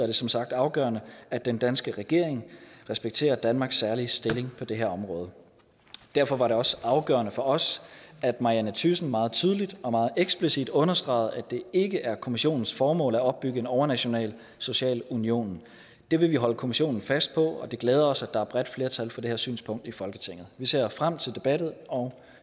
det som sagt afgørende at den danske regering respekterer danmarks særlige stilling på det her område derfor var det også afgørende for os at marianne thyssen meget tydeligt og meget eksplicit understregede at det ikke er kommissionens formål at opbygge en overnational social union det vil vi holde kommissionen fast på og det glæder os at der er bredt flertal for det her synspunkt i folketinget vi ser frem til debatten og